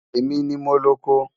Ẹ̀mi ni mó lọ̀kọ